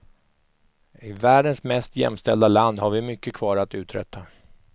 I världens mest jämställda land har vi mycket kvar att uträtta.